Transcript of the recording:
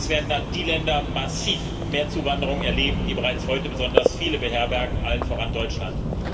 Im Klartext Es werden dann die Länder massiv mehr Zuwanderung erleben, die bereits heute besonders viele beherbergen, allen voran Deutschland.